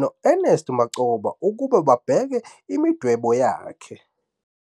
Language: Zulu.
no-U-Ernest Mancoba ukuba babheke imidwebo yakhe.